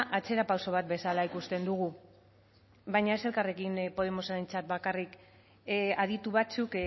atzerapauso bat bezala ikusten dugu baina ez elkarrekin podemosentzat bakarrik aditu batzuk